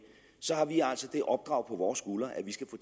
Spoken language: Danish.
så har vi altså det opdrag på vores skuldre at vi skal få